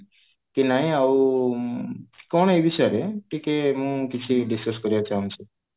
କି ନାଇଁ ଆଉ ଆଁ କଣ ଟିକେ ଏ ବିଷୟରେ ଟିକେ ମୁଁ କିଛି discuss କରିବାକୁ ଚାହୁଁଛି